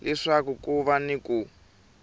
leswaku ku va ni ku